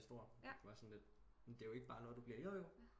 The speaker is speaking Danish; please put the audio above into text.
Men det er jo ikke bare noget du bliver jojo